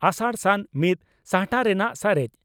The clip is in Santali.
ᱟᱥᱟᱲᱼᱥᱟᱱ ᱢᱤᱛ ᱥᱟᱦᱴᱟ ᱨᱮᱱᱟᱜ ᱥᱟᱨᱮᱡ